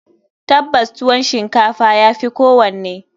Tabbas, tuwon shinkafa ya fi kowanne.